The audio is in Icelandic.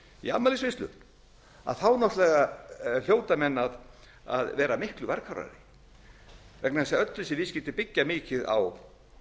í afmælisveislu náttúrlega hljóta menn að vera miklu varkárari vegna þess að öll þessi viðskipti byggja mikið